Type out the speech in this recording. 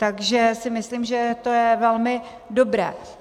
Takže si myslím, že to je velmi dobré.